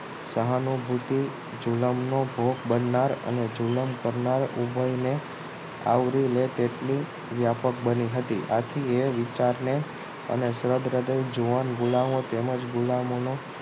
સહાનુભૂતિ ઝૂલમનો ભોગ બનનાર અને જુલમ કરનાર ઓબયને આવરી લે તેટલી વ્યાપક બની હતી આથી એ વિચારને અને સ્વરૃદય અને જુવાન ગુલામો તેમજ ગુલામોનો